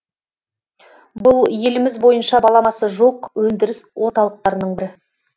бұл еліміз бойынша баламасы жоқ өндіріс орталықтарының бірі